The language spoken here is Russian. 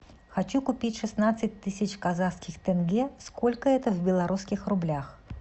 хочу купить шестнадцать тысяч казахских тенге сколько это в белорусских рублях